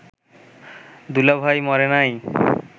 দুলাভাই মরে নাই